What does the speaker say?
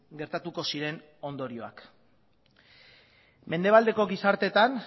gertatuko ziren ondorioak mendebaldeko gizarteetan